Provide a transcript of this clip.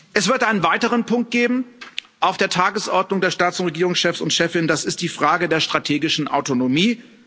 Es wird einen weiteren Punkt auf der Tagesordnung der Staats und Regierungschefs und chefinnen geben, das ist die Frage der strategischen Autonomie.